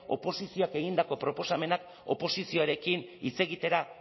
oposizioak egindako proposamenak oposizioarekin hitz egitera